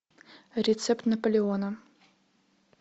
рецепт наполеона